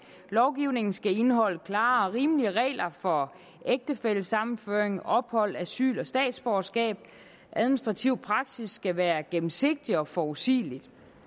lovgivningen skal indeholde klare og rimelige regler for ægtefællesammenføring ophold asyl og statsborgerskab administrativ praksis skal være gennemsigtig og forudsigelig